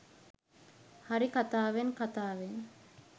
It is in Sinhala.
හරි කතාවෙන් කතාවෙන්